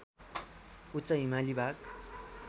उच्च हिमाली भाग